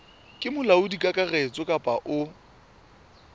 ke molaodi kakaretso kapa o